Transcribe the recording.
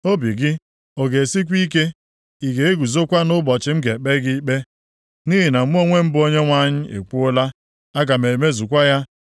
Obi gị ọ ga-esikwa ike? Ị ga-eguzokwa nʼụbọchị m ga-ekpe gị ikpe? Nʼihi na mụ onwe m bụ Onyenwe anyị ekwuola. Aga m emezukwa ya.